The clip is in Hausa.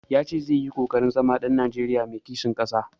Ya ce zai yi ƙoƙarin zama ɗan Najeriya mai kishin ƙasa.